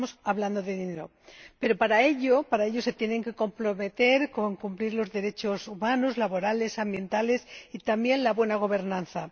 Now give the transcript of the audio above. Estamos hablando de dinero. Pero para ello se tienen que comprometer a respetar los derechos humanos, laborales, ambientales y, también, la buena gobernanza.